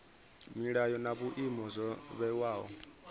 milayo na vhuimo zwo vhewaho